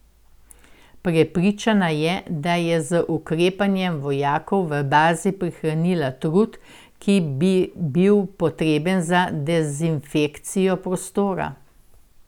Prepričana je, da je z ukrepanjem vojakom v bazi prihranila trud, ki bi bil potreben za dezinfekcijo prostora.